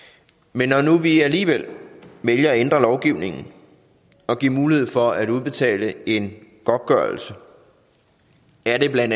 men når nu vi alligevel vælger at ændre lovgivningen og giver mulighed for at udbetale en godtgørelse er det bla